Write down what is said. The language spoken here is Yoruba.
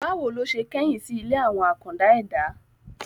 Bá wo ló se kẹ́yìn sí ilé àwọn àkàndá ẹ̀dá?